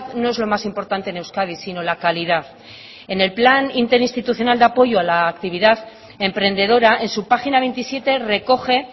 no es lo más importante en euskadi sino la calidad en el plan interinstitucional de apoyo a la actividad emprendedora en su página veintisiete recoge